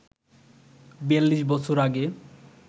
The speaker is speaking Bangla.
৪২ বছর আগে